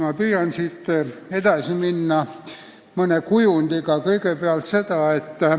Ma püüan siit mõne kujundiga edasi minna.